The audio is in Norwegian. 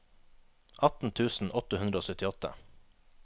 atten tusen åtte hundre og syttiåtte